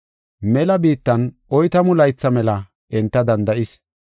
Mela biittan oytamu laytha mela enta danda7is.